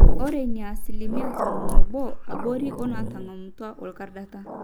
ore in naa asilimia tomon oobo abori oonaatang'amutua orkordata